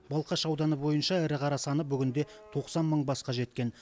балқаш ауданы бойынша ірі қара саны бүгінде тоқсан мың басқа жеткен